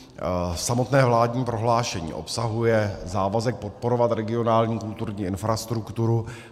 Samotné vládní prohlášení obsahuje závazek podporovat regionální kulturní infrastrukturu.